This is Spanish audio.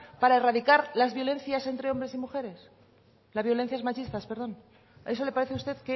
para erradicar las violencias entre hombre y mujeres las violencias machistas perdón eso le parece usted